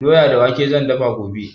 Doya da wake zan dafa gobe.